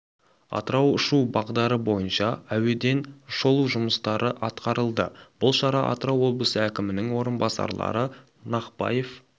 атырау ұшу бағдары бойынша әуеден шолу жұмыстары атқарылды бұл шара атырау облысы әкімінің орынбасарлары нақпаев